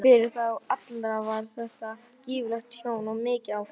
Fyrir þá alla var þetta gífurlegt tjón og mikið áfall.